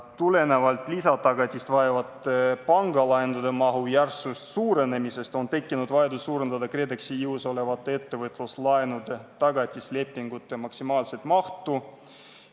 Tulenevalt lisatagatist vajavate pangalaenude mahu järsust suurenemisest on tekkinud vajadus suurendada KredExi jõus olevate ettevõtluslaenude tagatislepingute maksimaalset mahtu.